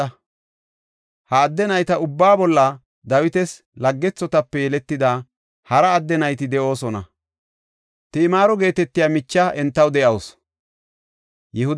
Ha adde nayta ubbaa bolla Dawitas laggethotape yeletida hara adde nayti de7oosona; Timaaro geetetiya micha entaw de7awusu.